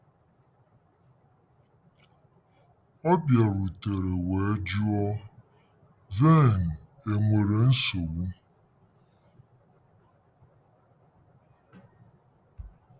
Ọ bịarutere wee jụọ, " Vern, enwere nsogbu ?"